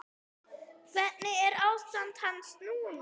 Hvernig er ástand hans núna?